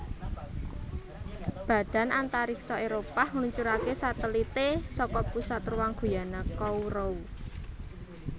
Badan Antariksa Éropah ngluncuraké satelité saka Pusat Ruang Guyana Kourou